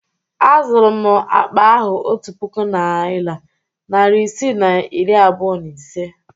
Azụrụ m akpa ahụ otu puku naịra, narị isii na iri abụọ na ise?